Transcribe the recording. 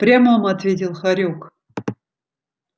в прямом ответил хорёк